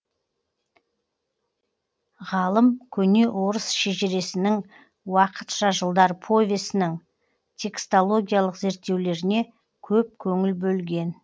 ғалым көне орыс шежіресінің уақытша жылдар повесінің текстологиялық зерттеулеріне көп көңіл бөлген